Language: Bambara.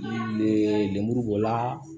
Lemuru b'o la